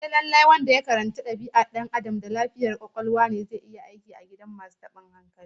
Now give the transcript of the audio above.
Sai lallai wanda ya karanci dabi'ar Dan Adam da lafiyar kwakwalwa ne zai iya aiki a gidan masu tabin hankali?